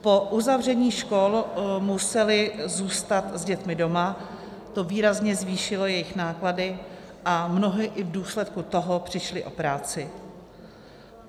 Po uzavření škol museli zůstat s dětmi doma, to výrazně zvýšilo jejich náklady, a mnohdy i v důsledku toho přišli o práci.